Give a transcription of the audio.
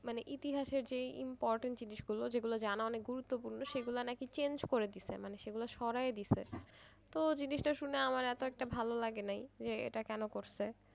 মানে ইতিহাসের যেই important জিনিসগুলো যেগুলো জানা অনেক গুরুত্বপূর্ণ সেগুলো নাকি change করে দিছে মানে সরায় দিছে তো জিনিসটা শুনে আমার এতো একটা ভালো লাগে নাই যে এটা কেন করছে?